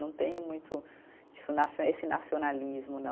Não tenho muito isso nacio, esse nacionalismo, não.